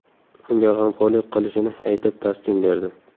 Unga g‘amxo‘rlik qilishini aytib taskin berdi.